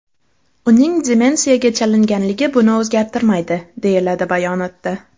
Uning demensiyaga chalinganligi buni o‘zgartirmaydi”, deyiladi bayonotda.